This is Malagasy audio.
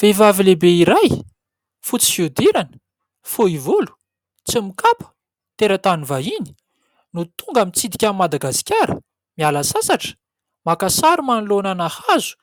Vehivavy lehibe iray, fotsy fihodirana, fohy volo, tsy mikapa, teratany vahiny no tonga mitsidika an'i Madagasikara, miala sasatra, maka sary manoloanana hazo